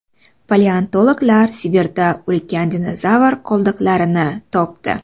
Paleontologlar Sibirda ulkan dinozavr qoldiqlarini topdi.